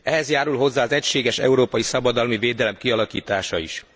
Ehhez járul hozzá az egységes európai szabadalmi védelem kialakítása is.